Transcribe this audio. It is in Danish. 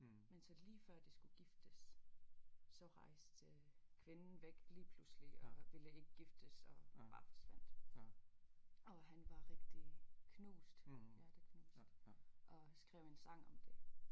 Men så lige før de skulle giftes så rejste kvinden væk lige pludselig og ville ikke giftes og bare forsvandt og han var rigtig knust hjerteknust og skrev en sang om det